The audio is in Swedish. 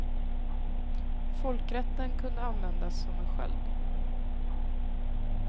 Folkrätten kunde användas som en sköld.